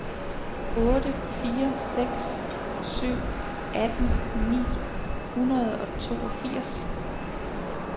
otte fire seks syv atten ni hundrede og toogfirs